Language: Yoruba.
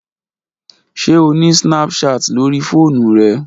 Ṣe o ni snapchat lori foonu rẹ?